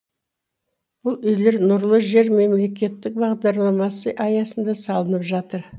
бұл үйлер нұрлы жер мемлекеттік бағдарламасы аясында салынып жатыр